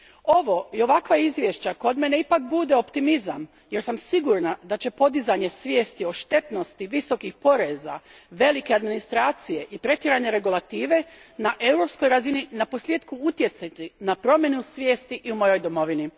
Ovo i ovakva izvješća kod mene ipak bude optimizam jer sam sigurna da će podizanje svijesti o štetnosti visokih poreza, velike administracije i pretjerane regulative na europskoj razini naposlijetku utjecati na promjenu svijesti i u mojoj domovini.